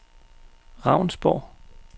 Ravnsborg